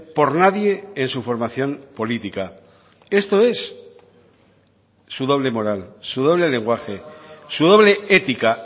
por nadie en su formación política esto es su doble moral su doble lenguaje su doble ética